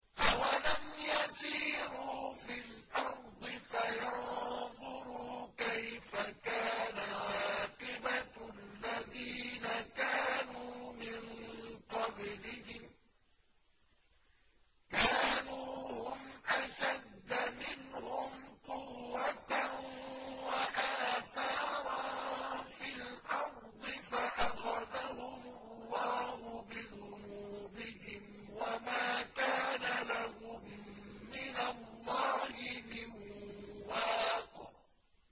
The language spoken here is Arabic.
۞ أَوَلَمْ يَسِيرُوا فِي الْأَرْضِ فَيَنظُرُوا كَيْفَ كَانَ عَاقِبَةُ الَّذِينَ كَانُوا مِن قَبْلِهِمْ ۚ كَانُوا هُمْ أَشَدَّ مِنْهُمْ قُوَّةً وَآثَارًا فِي الْأَرْضِ فَأَخَذَهُمُ اللَّهُ بِذُنُوبِهِمْ وَمَا كَانَ لَهُم مِّنَ اللَّهِ مِن وَاقٍ